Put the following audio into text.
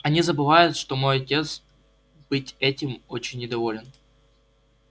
они забывают что мой отец быть этим очень недоволен